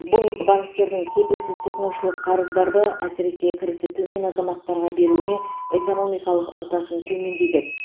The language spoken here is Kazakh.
бұл банктердің кепілсіз тұтынушылық қарыздарды әсіресе кірісі төмен азаматтарға беруіне экономикалық ынтасын төмендетеді